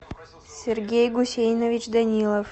сергей гусейнович данилов